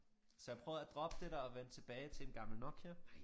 Så jeg prøvede at droppe det der og vende tilbage til en gammel Nokia